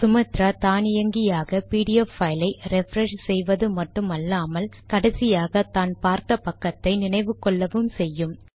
Sumatra தானியங்கியாக PDF file ஐ refresh செய்வது மட்டுமல்லாமல் கடைசியாக தான் பார்த்த பக்கத்தை நினைவு கொள்ளவும் செய்யும்